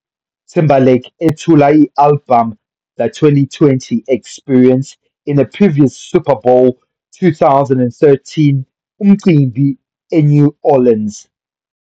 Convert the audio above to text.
Timberlake ethula i-albhamu The 20 - 20 Experience in a previous Super Bowl 2013 Umcimbi eNew Orleans.